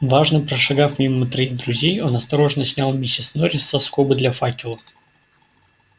важно прошагав мимо троих друзей он осторожно снял миссис норрис со скобы для факела